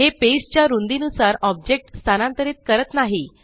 हे पेज च्या रुंदी नुसार ऑब्जेक्ट स्थानांतरीत करत नाही